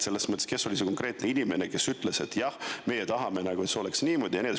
Kes oli see konkreetne inimene, kes ütles, et me tahame, et see oleks niimoodi?